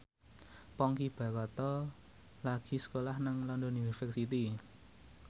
Ponky Brata lagi sekolah nang London University